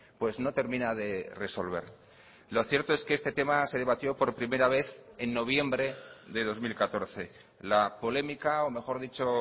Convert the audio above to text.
pues no termina de resolver lo cierto es que este tema se debatió por primera vez en noviembre de dos mil catorce la polémica o mejor dicho